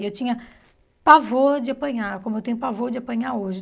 E eu tinha pavor de apanhar, como eu tenho pavor de apanhar hoje.